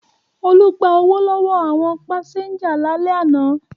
Olú gba owó lọ́wọ́ àwọn pásẹ́ńjà lálẹ́ àná.